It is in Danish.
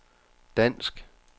dansk